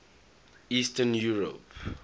eastern europe